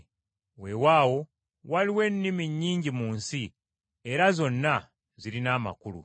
Weewaawo waliwo ennimi nnyingi mu nsi, era zonna zirina amakulu.